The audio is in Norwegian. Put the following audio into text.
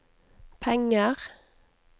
penger